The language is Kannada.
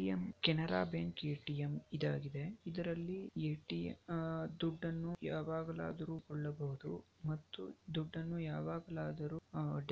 A_ T_ M Canara bank ATM ಇದಾಗಿದೆ. ಇದರಲ್ಲಿ ಎ_ ಟಿ_ ಎಮ್ ಅಹ್ ದುಡ್ಡನ್ನು ಯಾವಾಗಲಾದರೂ ಕೊಳ್ಳಬಹುದು ಮತ್ತು ದುಡ್ಡನ್ನು ಯಾವಾಗಲಾದರೂ